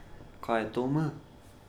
Kaj je to M?